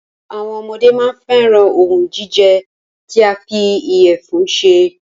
Àwọn ọmọdé máa n fẹ́ran òhún jíjẹ tí a fí ìyẹ̀fun ṣe.